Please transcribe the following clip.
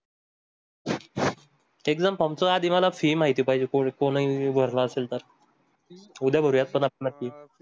आधी मला fee माहिती पाहिजे कोणी कोणी भरला असेल तर उद्या